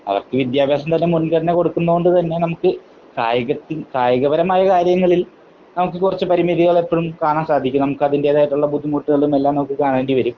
അവർക്ക് വിദ്യാഭ്യാസം തന്നെ മുൻഗണന കൊടുക്കുന്നത് കൊണ്ട് തന്നെ നമുക്ക് കായിക കായിക പരമായ കാര്യങ്ങളിൽ നമുക്ക് കുറച്ച് പരിമിതികൾ എപ്പഴും കാണാൻ സാധിക്കും. നമുക്ക് അതിന്റേതായിട്ടുള്ള ബുദ്ധിമുട്ടുകളും എല്ലാം നമുക്ക് കാണേണ്ടി വരും.